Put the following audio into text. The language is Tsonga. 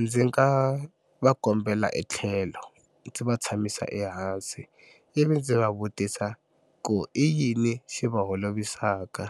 Ndzi nga va kombela etlhelo ndzi va tshamisa ehansi ivi ndzi va vutisa ku i yini xi va holovisaka